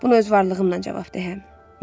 Bunu öz varlığımla cavab deyərəm.